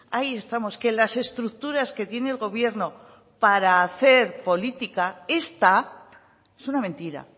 ahí estamos que las estructuras que tiene el gobierno para hacer política esta es una mentira